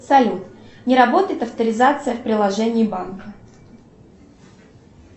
салют не работает авторизация в приложении банка